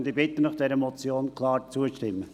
Ich bitte Sie, dieser Motion klar zuzustimmen.